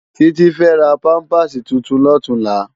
Titi fè rá pàmpásí tútún lòtúnlá